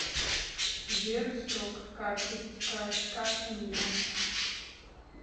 сбер срок карты истекает как поменять